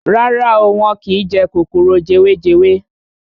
Rárá o, wọ́n kín jẹ kòkòrò jewejewe.